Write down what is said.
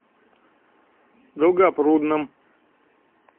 долгопрудном